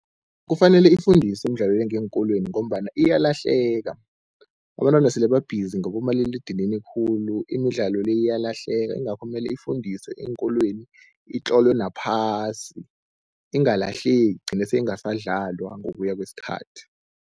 Kufanele ifundiswe imidlalo le ngeenkolweni, ngombana iyalahleka. Abantwana sele babhizi ngabomaliledinini khulu, imidlalo le iyalahleka ingakho mele ifundiswe eenkolweni, itlolwe naphasi ingalahleki igcine seyingasadlalwa ngokuya kwesikhathi.